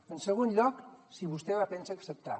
en segon lloc si vostè la pensa acceptar